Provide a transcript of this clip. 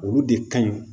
Olu de ka ɲi